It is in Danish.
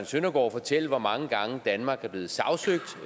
søndergaard fortælle hvor mange gange danmark er blevet sagsøgt